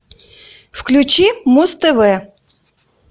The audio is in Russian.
включи муз тв